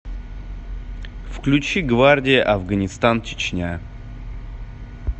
включи гвардия афганистан чечня